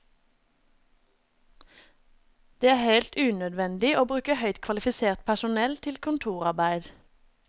Det er helt unødvendig å bruke høyt kvalifisert personell til kontorarbeid.